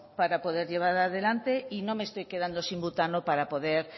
para poder llevar adelante y no me estoy quedando sin butano para poder